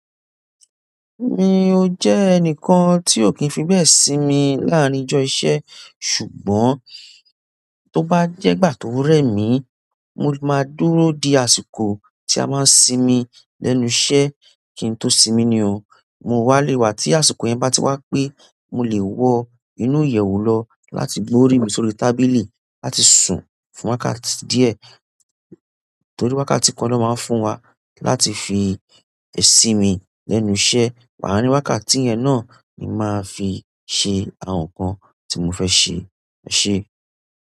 Mi ò jẹ́ ẹnìkan tí ò kì í fi bẹ́ẹ̀ sí mi láàárín ìjọ iṣẹ́, ṣùgbọ́n tó bá jẹ́ gbà tó rẹ̀ mí, mo máa dúró de àsìkò tí a máa ń sinmi lẹ́nu iṣẹ́. Kì í tó sinmi ni oó, mo wá léwà tí àsìkò yẹn bá ti wá pé mo lè wọ inú ìyẹ̀wù lọ láti gbó orí mi sórí tábìlì láti sùn fún wákàtí díẹ̀ torí wákàtí kan lọ́ máa ń fún wa láti fi ẹ̀ sí mi lẹ́nu iṣẹ́. Wání wákàtí yẹn náà ni màá fi ṣe àwọn nǹkan tí mo fẹ́ ṣe. Ṣẹ́.